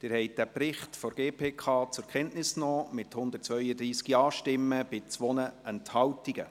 Sie haben den Bericht der GPK zur Kenntnis genommen, mit 132 Ja-Stimmen und 2 Enthaltungen.